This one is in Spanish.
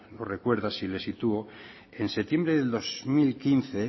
lo recuerda si le sitúo en septiembre del dos mil quince